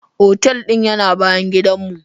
Otal din yana bayan gidan mu.